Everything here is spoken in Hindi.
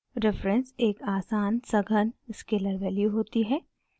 reference एक आसान सघन स्केलर वैल्यू होती है